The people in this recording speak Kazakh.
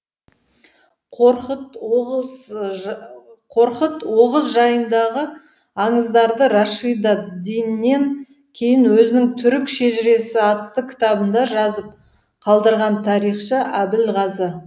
қорқыт оғыз жайындағы аңыздарды рашидад диннен кейін өзінің түрік шежіресі атты кітабында жазып қалдырған тарихшы әбілғазы